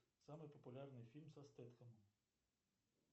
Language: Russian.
самый популярный фильм со стетхемом